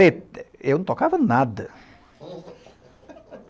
Eu não tocava nada.